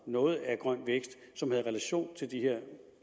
noget af grøn vækst som havde relation til det her